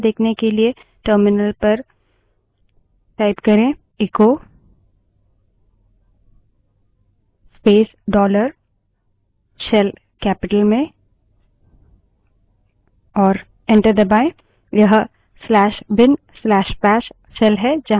shell variable की value क्या है देखने के लिए echo space dollar shell terminal पर echo space dollar shell capital में type करें और enter दबायें